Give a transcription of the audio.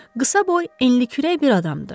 Qısaboy, enlikürək bir adamdı.